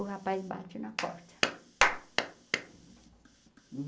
O rapaz bate na porta.